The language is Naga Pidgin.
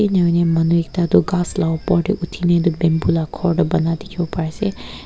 enahoina manu ekta toh ghas la opor tae uthina edu bamboo la khor toh bana la dikhiase.